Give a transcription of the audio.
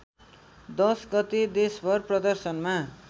१० गते देशभर प्रदर्शनमा